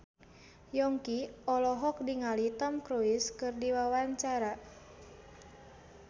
Yongki olohok ningali Tom Cruise keur diwawancara